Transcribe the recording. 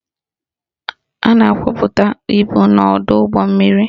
A na-akwapụta ibu n'ọdọụgbọmmiri